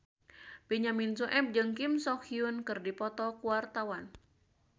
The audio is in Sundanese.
Benyamin Sueb jeung Kim So Hyun keur dipoto ku wartawan